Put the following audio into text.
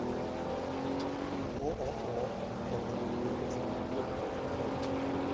ооо мета екатеринбург бронь